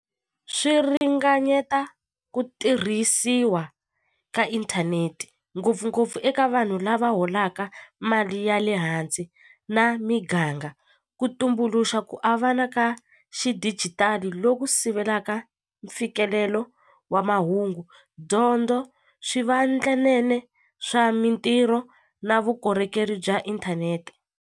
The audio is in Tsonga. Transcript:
Swi ringanyeta ku tirhisiwa ka inthanete ngopfungopfu eka vanhu lava holaka mali ya le hansi na miganga ku tumbuluxa ku avana ka xidijitali loku sivelaka mfikelelo wa mahungu dyondzo swivandlanene swa mintirho na vukorhokeri bya inthanete.